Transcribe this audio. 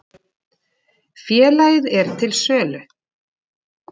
Félagið er til sölu.